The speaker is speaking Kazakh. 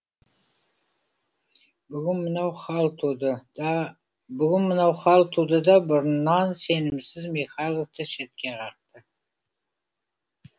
бүгін мына хал туды да бүгін мынау хал туды да бұрыннан сенімсіз михайловты шетке қақты